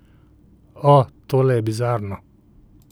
O, tole je bizarno.